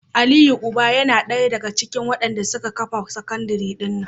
Aliyu uban yana daya daga cikin wadanda suka kafa sakandire dina